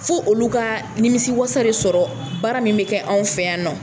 Fo olu ka nimisiwasa de sɔrɔ baara min bɛ kɛ anw fɛ yan nɔ